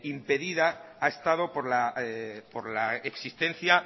impedida ha estado por la existencia